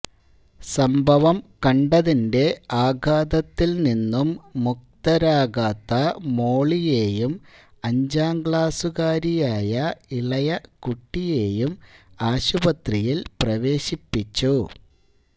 സംഭവം കണ്ടതിന്റെ ആഘാതത്തില് നിന്നും മുക്തരാകാത്ത മോളിയേയും അഞ്ചാം ക്ലാസുകാരിയായ ഇളയ കുട്ടിയേയും ആശുപത്രിയില് പ്രവേശിപ്പിച്ചു